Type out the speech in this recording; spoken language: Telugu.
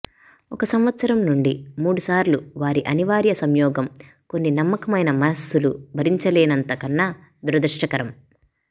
ఒక సంవత్సరం నుండి మూడు సార్లు వారి అనివార్య సంయోగం కొన్ని నమ్మకమైన మనస్సులు భరించలేనంత కన్నా దురదృష్టకరం